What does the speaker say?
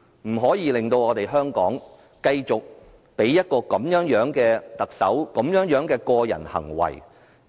我們不能夠繼續讓有這種個人行為的特首